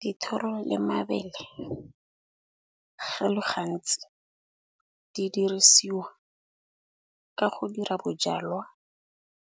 Dithoro le mabele go le gantsi di dirisiwa ka go dira bojalwa,